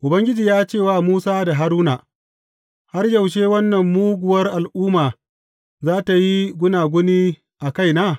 Ubangiji ya ce wa Musa da Haruna, Har yaushe wannan muguwar al’umma za tă yi gunaguni a kaina?